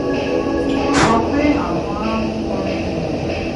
wọ́n sọ pé àwọn á mú orin ìyìn